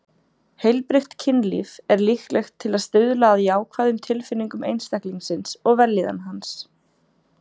Heilbrigt kynlíf er líklegt til að stuðla að jákvæðum tilfinningum einstaklingsins og vellíðan hans.